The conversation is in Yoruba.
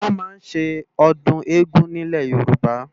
Wòn má n sé òdùn égùn ni Ilé Yoruba